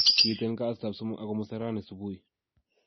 Kiit en kasitab somok ak komusta raeni subui